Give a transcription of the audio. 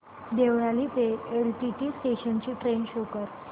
देवळाली ते LTT station ची train show कर